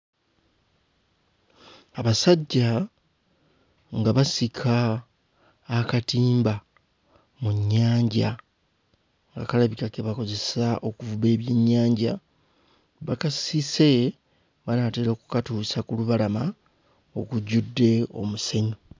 Abasajja nga basika akatimba mu nnyanja nga kalabika ke bakozesa okuvuba ebyennyanja, bakasise banaatera okkatuusa ku lubalama okujjudde omusenyu.